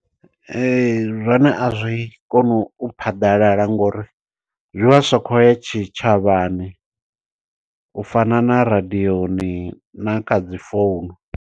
Ee zwone a zwi koni u phaḓalala, ngo uri zwi vha zwi sa khou ya tshitshavhani, u fana na radiyoni na kha dzi founu.